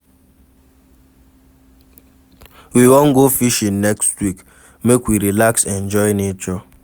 We wan go fishing next week, make we relax enjoy nature.